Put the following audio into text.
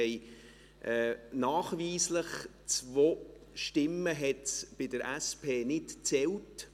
Nachweislich hat es zwei Stimmen bei der SP nicht gezählt.